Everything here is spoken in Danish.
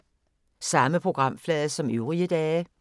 Samme programflade som øvrige dage